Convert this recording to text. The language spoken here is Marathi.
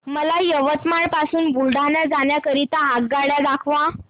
मला यवतमाळ पासून बुलढाणा जाण्या करीता आगगाड्या दाखवा